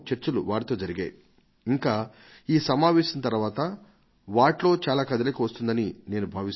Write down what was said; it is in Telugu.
వారి పనితీరులోను వారి కార్యక్రమాలలోను ఏదైనా ఒక కొత్తదనాన్ని మనం జత చేయాలా మీరు నాకు నా NarendraModiApp మీద రాస్తే నేను వాటిని సరైన చోటుకు పంపిస్తాను